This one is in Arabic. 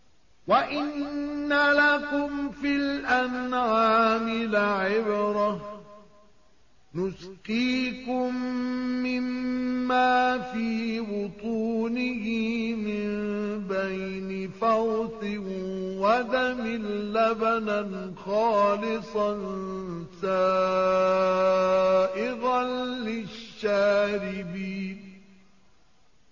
وَإِنَّ لَكُمْ فِي الْأَنْعَامِ لَعِبْرَةً ۖ نُّسْقِيكُم مِّمَّا فِي بُطُونِهِ مِن بَيْنِ فَرْثٍ وَدَمٍ لَّبَنًا خَالِصًا سَائِغًا لِّلشَّارِبِينَ